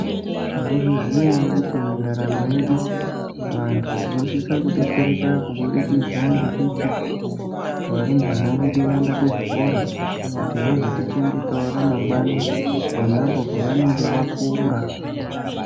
Maizviziva ere kuti mundaramo yedu vandu tinosisa kudetsereka kuburukidza ngekuti varumbwana vedu vaenda kuzvikora kuti vazotichengetao ramangwani nenambo pavanenge vakura.